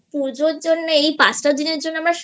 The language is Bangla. পুজোর পাঁচটা দিনের জন্য